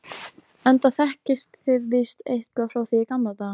enda þekkist þið víst eitthvað frá því í gamla daga.